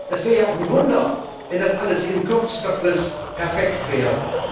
Das wäre ja auch ein Wunder, wenn das alles in kürzester Frist perfekt wäre.